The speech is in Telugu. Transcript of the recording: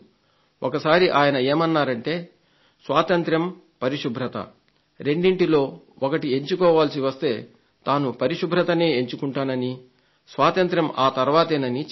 ఒకసారి ఆయన ఏమన్నారంటే స్వాతంత్య్రం పరిశుభ్రత రెండింటిలో ఒకటి ఎంచుకోవాల్సి వస్తే తాను పరిశుభ్రతనే ఎంచుకుంటాననీ స్వాతంత్య్రం ఆ తర్వాతేనని చెప్పారు